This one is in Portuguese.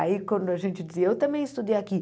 Aí quando a gente dizia, eu também estudei aqui.